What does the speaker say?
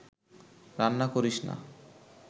রান্না করিস না